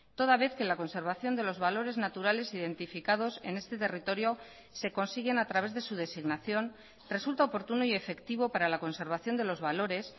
toda vez que la conservación de los valores naturales identificados en este territorio se consiguen a través de su designación resulta oportuno y efectivo para la conservación de los valores